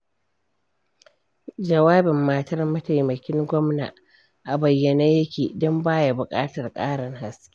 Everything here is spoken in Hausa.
Jawabin matar mataimakin gwamna a bayyane yake, don ba ya buƙatar ƙarin haske.